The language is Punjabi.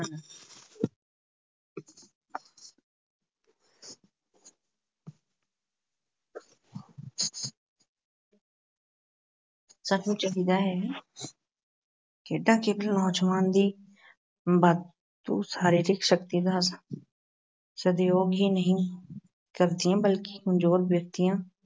ਸਾਨੂੰ ਚਾਹੀਦਾ ਹੈ ਖੇਡਾਂ ਕੇਵਲ ਨੌਜਵਾਨਾਂ ਦੀ ਵਾਧੂ ਸਰੀਰਿਕ ਸ਼ਕਤੀ ਦਾ ਸਦਉਪਯੋਗ ਹੀ ਨਹੀਂ ਕਰਦੀਆਂ ਬਲਕਿ ਕਮਜ਼ੋਰ ਵਿਅਕਤੀਆਂ